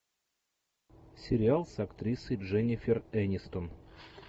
сериал с актрисой дженнифер энистон